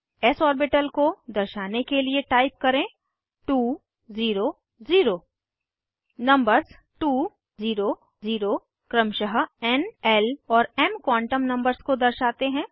S orbital को दर्शाने के लिए टाइप करें 2 0 0 नंबर्स 2 0 0 क्रमशः एन ल और एम क्वांटम नंबर्स को दर्शाते हैं